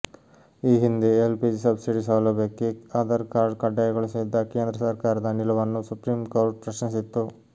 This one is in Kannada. ಈ ಹಿಂದೆ ಎಲ್ ಪಿಜಿ ಸಬ್ಸಿಡಿ ಸೌಲಭ್ಯಕ್ಕೆ ಆಧಾರ್ ಕಾರ್ಡ್ ಕಡ್ಡಾಯಗೊಳಿಸಿದ್ದ ಕೇಂದ್ರ ಸರ್ಕಾರದ ನಿಲುವನ್ನು ಸುಪ್ರೀಂ ಕೋರ್ಟ್ ಪ್ರಶ್ನಿಸಿತ್ತು